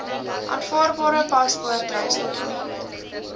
aanvaarbare paspoort reisdokument